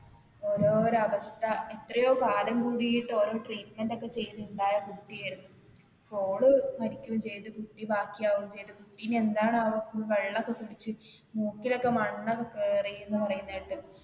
ഓരോരോ അവസ്ഥ എത്രയോ കാലം കുടിട്ട് ഓരോ treatment ഒക്കെ ചെയ്ത് ഉണ്ടായ കുട്ടി ആണ്. ഇപ്പൊ ഓള് മരിക്കേം ചെയ്ത് കുട്ടി ബാക്കി ആവുകേം ചെയ്ത് ഇനി എന്താണാവോ വെള്ളം ഒക്കെ കുടിച്ചു മുക്കിൽ ഒക്കെ മണ്ണ് ഒക്കെ കേറി എന്ന് പറയുന്നത് കേട്ട്.